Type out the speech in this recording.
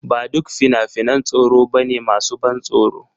Ba duk fina-finan tsoro ba ne masu ban tsoro.